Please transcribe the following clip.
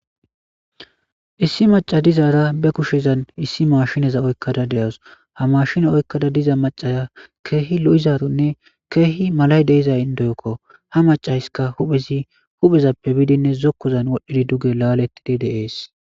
issi maca dizaara be kushezan issi maashinaza oykkada de7as ha maashina oykkada diza macaya keehi lo7izaronne keehi malay deiza indoyokko ha macayska huphezi huphezappe biidinne zokkozan wodhdhidi duge laalettidi deees